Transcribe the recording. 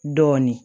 Dɔɔnin